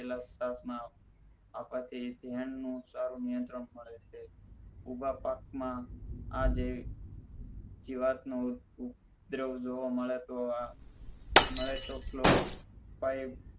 આપવાથી ધ્યાન નું સારું નિયંત્રણ મડે છે ઊભા પાક માં આ જે જીવાત નું ઉપદ્રવ જોવા મળે તો આ મળે તો clorofi